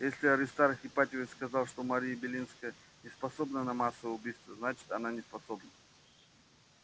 если аристарх ипатьевич сказал что мария белинская не способна на массовое убийство значит она неспособна